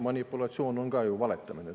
Manipulatsioon on ju ka valetamine.